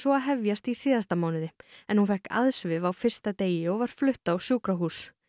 að hefjast í síðasta mánuði en hún fékk á fyrsta degi og var flutt á sjúkrahús